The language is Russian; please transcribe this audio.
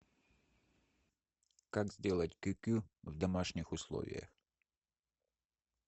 как сделать кюкю в домашних условиях